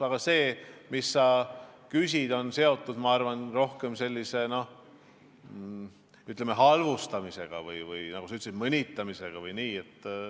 Aga sinu küsimus on minu arvates seotud rohkem sellise halvustamisega või nagu sa ütlesid, mõnitamisega.